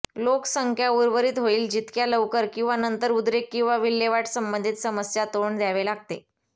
लोकसंख्या उर्वरित होईल जितक्या लवकर किंवा नंतर उद्रेक किंवा विल्हेवाट संबंधित समस्या तोंड द्यावे लागते